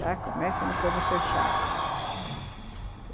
Já começa no coisa fechado, uhum.